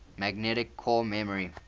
magnetic core memory